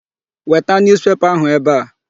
Weta newspaper ahụ ebe a.